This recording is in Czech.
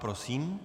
Prosím.